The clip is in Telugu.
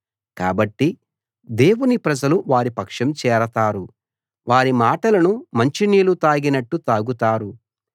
కాబట్టి దేవుని ప్రజలు వారి పక్షం చేరతారు వారి మాటలను మంచినీళ్ళు తాగినట్టు తాగుతారు